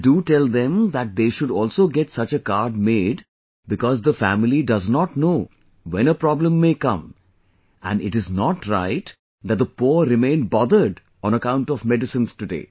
And do tell them that they should also get such a card made because the family does not know when a problem may come and it is not right that the poor remain bothered on account of medicines today